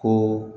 Ko